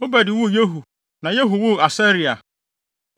Obed woo Yehu na Yehu woo Asaria.